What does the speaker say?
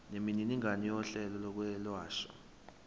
nemininingwane yohlelo lokwelashwa